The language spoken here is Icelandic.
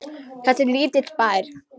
Þetta er lítill bær.